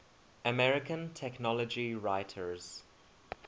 american technology writers